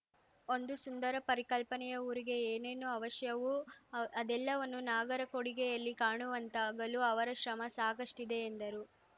ಒಂದು ಸುಂದರ ಪರಿಕಲ್ಪನೆಯ ಊರಿಗೆ ಏನೇನು ಅವಶ್ಯವೂ ಅದೆಲ್ಲವನ್ನೂ ನಾಗರಕೊಡಿಗೆಯಲ್ಲಿ ಕಾಣುವಂತಾಗಲು ಅವರ ಶ್ರಮ ಸಾಕಷ್ಟಿದೆ ಎಂದರು